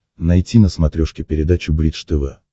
найти на смотрешке передачу бридж тв